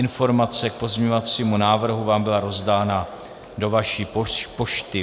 Informace k pozměňovacímu návrhu vám byla rozdána do vaší pošty.